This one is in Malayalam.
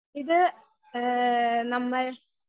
സ്പീക്കർ 1 ഇത് ഏ നമ്മൾ.